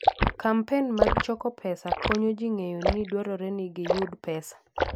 Kampen mag choko pesa konyo ji ng'eyo ni dwarore ni giyud pesa.